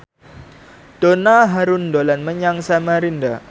Donna Harun dolan menyang Samarinda